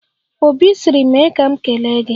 Obi sịrị 'mee ka m kelee gị'